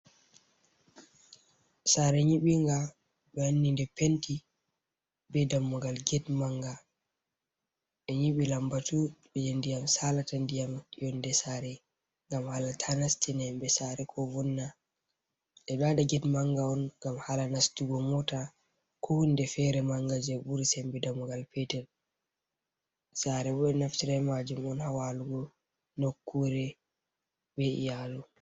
Sare nyibi nga ɓe wanni nde penti be dammugal get manga ɓe nyibi lambatu beje ndiyam salata diyam yonde sare ngam hala ta Ndiyam nast. Ɓeɗo waɗa get manga on ngam hala nastugo mota ko hunde fere manga je buri sembe dammugal petel sare bo naftira majum on hawalugo nokure be’iyalu.